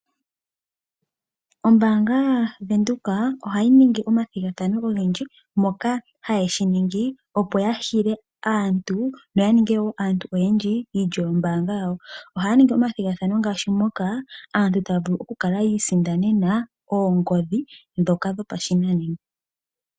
Ombaanga yaVenduka ohayi ningi omathigathano ogendji ngoka haye ga ningi opo ya hile aantu noya ninge wo aantu oyandji iilyo yombaanga yawo. Ohaya ningi omathigathano ngaashi moka aantu taya vulu okuisindanena oongodhi ndhoka dhopashinanena.